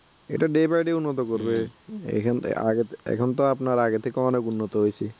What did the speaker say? এটা day by day উন্নত করবে, এখান থেকে এখন তো আপনার আগে থেকে অনেক উন্নত হইছে